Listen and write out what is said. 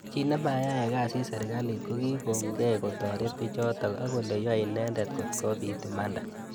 Chi nemayae kasi serkalit kokikonkei kotoret bichotok ak kole yoe inendet kotkobit imanda.